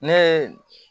Ne ye